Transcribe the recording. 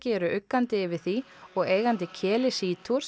eru uggandi yfir því og eigandi keli Sea